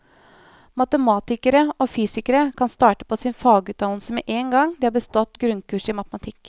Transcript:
Matematikere og fysikere kan starte på sin fagutdannelse med én gang de har bestått grunnkurset i matematikk.